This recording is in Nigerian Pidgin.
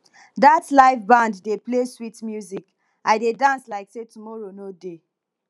dat live band dey play sweet music i dey dance like sey tomorrow no dey